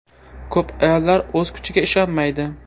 Ko‘p ayollar o‘z kuchiga ishonmaydi.